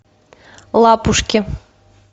лапушки